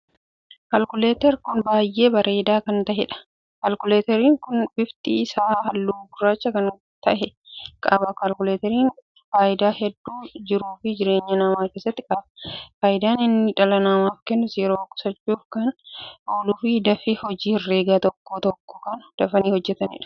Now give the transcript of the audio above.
Kalkuleeter kun baay'ee bareedaa kan taheedha. kalkuleeteriin kun bifti isaa halluu gurraacha kan tahee qaba. kalkuleeteriin faayidaa hedduu jiruu fi jireenya namaa keessatti qaba. faayidaan inni dhala namaaf kennus, yeroo qusachuuf kana ooluuf, dafii hojii herregaa tokko tokko kan dafanii ittin hojjetaniidha.